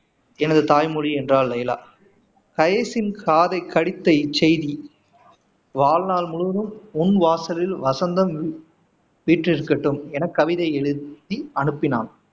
எனது தாய்மொழி என்றாள் லைலா கைசின் காதை கடித்த இச் செய்தி வாழ்நாள் முழுவதும் உன் வாசலில் வசந்தம் வீற்று இருக்கட்டும் என கவிதை எழுதி அனுப்பினான்